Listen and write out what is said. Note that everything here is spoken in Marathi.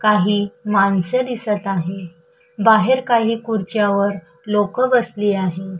काही माणसे दिसत आहे बाहेर काही खुर्च्या वर लोक बसली आहे.